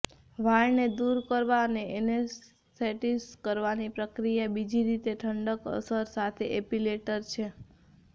વાળને દૂર કરવા અને એનેસ્થેટીસ કરવાની પ્રક્રિયા બીજી રીતે ઠંડક અસર સાથે એપિલેટર છે